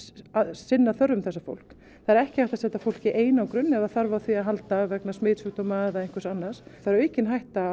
sinna þörfum þessa fólks það er ekki hægt að setja fólk í einangrun ef þarf á því að halda vegna smitsjúkdóma eða annars það er aukin hætta